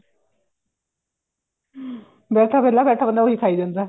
ਬੈਠਾ ਵਿਹਲਾ ਬੈਠਾ ਬੰਦਾ ਉਹ ਖਾਈ ਜਾਂਦਾ